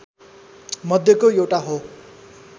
मध्यको एउटा हो